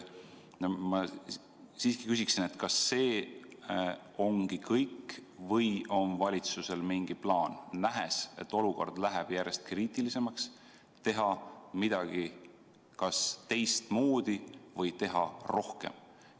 Ma siiski küsin, kas see ongi kõik või on valitsusel mingi plaan, nähes, et olukord läheb järjest kriitilisemaks, teha midagi kas teistmoodi või teha rohkem?